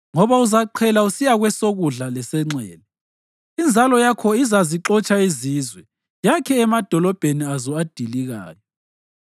Ngoba uzaqhela usiya kwesokudla lesenxele; inzalo yakho izazixotsha izizwe yakhe emadolobheni azo adilikayo.